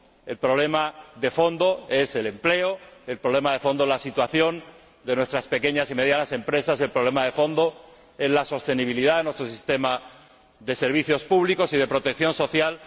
el problema de fondo es el empleo, el problema de fondo es la situación de nuestras pequeñas y medianas empresas y el problema de fondo es la sostenibilidad de nuestro sistema de servicios públicos y de protección social.